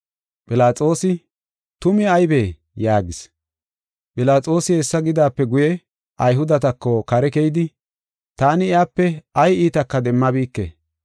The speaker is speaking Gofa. Philaxoosi, “Tumi aybee?” yaagis. Philaxoosi hessa gidaape guye Ayhudetako kare keyidi, “Taani iyape ay iitaka demmabike.